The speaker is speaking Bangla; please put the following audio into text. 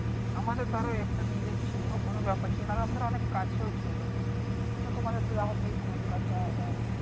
আমাদের ধর একটা নিজের ছিল কোন ব্যাপার ছিল না। ধর অনেক কাছেও ছিল কিন্তু তোমাদের তো আবার সেই কলকাতা। আবার,